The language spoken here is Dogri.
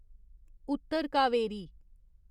उत्तर कावरी